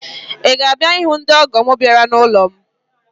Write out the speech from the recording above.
Ị ga-abịa ịhụ ndị ọ́gọ̀ m bịara n'ụlọ m?